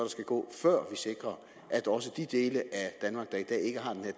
skal gå før vi sikrer at også de dele